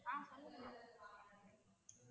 ah hello ma'am